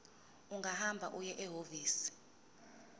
ungahamba uye ehhovisi